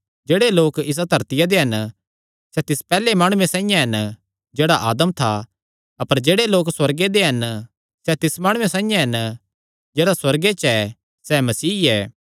जेह्ड़े लोक इसा धरतिया दे हन सैह़ तिस पैहल्ले माणुये साइआं हन जेह्ड़ा आदम था अपर जेह्ड़े लोक सुअर्गे दे हन सैह़ तिस माणुये साइआं हन जेह्ड़ा सुअर्गे च ऐ सैह़ मसीह ऐ